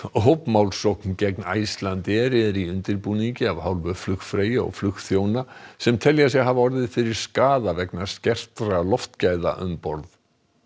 hópmálsókn gegn Icelandair er í undirbúningi af hálfu flugfreyja og flugþjóna sem telja sig hafa orðið fyrir skaða vegna skertra loftgæða um borð